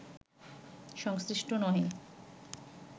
সংশ্লিষ্ট নহে